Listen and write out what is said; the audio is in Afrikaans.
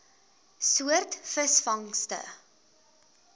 soort visvangste